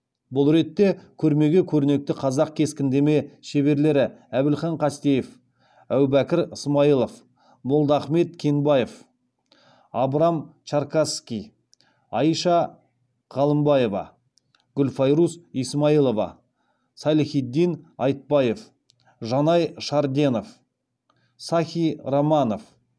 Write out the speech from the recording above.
бұл ретте көрмеге көрнекті қазақ кескіндеме шеберлері әбілхан қастеев әубәкір ысмайылов молдахмет кенбаев абрам чаркасский айша ғалымбаева гүлфайрус исмаилова салихитдин айтбаев жанай шарденов сахи романов